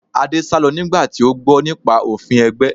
Adé sálọ nígbà tí ó gbọ́ nípa òfin ẹgbẹ́